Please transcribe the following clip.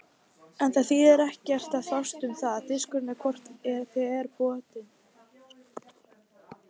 En það þýðir ekkert að fást um það, diskurinn er hvort eð er brotinn.